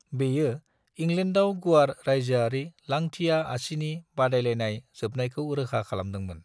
बेयो इंग्लैंडाव गुवार रायजोआरि लांथिया-आसिनि बादायलायनाय जोबनायखौ रोखा खालामदोंमोन।